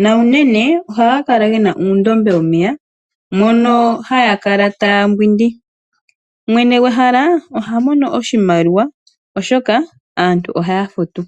nuunene ohaga kala ge na uundombe womeya mono haya kala taya mbwindi. Mwene gwehala oha mono oshimaliwa, oshoka aantu ohaya futu.